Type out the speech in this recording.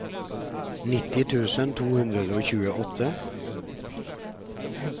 nitti tusen to hundre og tjueåtte